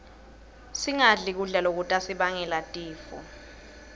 singadli kudla lokutasibangela tifo